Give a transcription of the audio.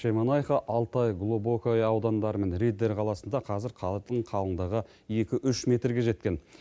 шемонайха алтай глубокое аудандары мен риддер қаласында қазір қардың қалыңдығы екі үш метрге жеткен